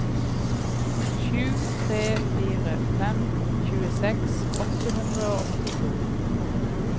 sju tre fire fem tjueseks åtte hundre og åttito